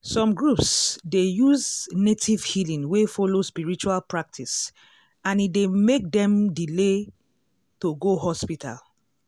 some groups dey use native healing wey follow spiritual practice and e dey make dem delay to go hospital.